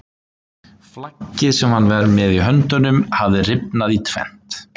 Flaggið sem hann var með í höndunum hafði rifnað í tvennt!